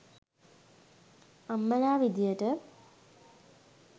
අම්මලා විදියට